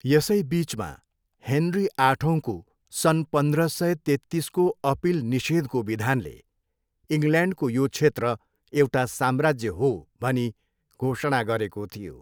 यसै बिचमा, हेनरी आठौँको सन् पन्ध्र सय तेत्तिसको अपिल निषेधको विधानले 'इङ्ल्यान्डको यो क्षेत्र एउटा साम्राज्य हो' भनी घोषणा गरेको थियो।